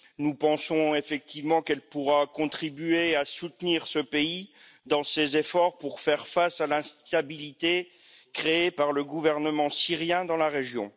Nous pensons effectivement qu'elle pourra contribuer à soutenir ce pays dans ses efforts pour faire face à l'instabilité créée par le gouvernement syrien dans la région.